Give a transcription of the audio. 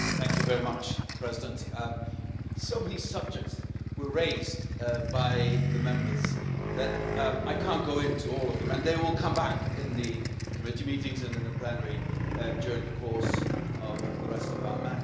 Madam President, so many subjects were raised by the Members that I can't go into all of them, and they will come back in the committee meetings and in the plenary during the course of the rest of our mandate.